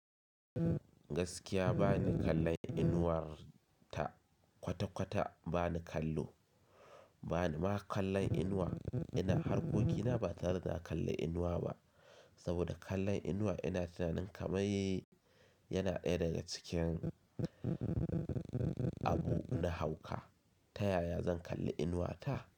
Gaskiya bani kallon Inuwar ta kwata-kwata bani kallo. Banima kallon inuwa, ina harkokina batare da na kalli inuwa ba. Saboda kallon inuwa ina tunanin kamar yana ɗaya daga cikin abu na hauka. Ta yaya zan kalli inuwata?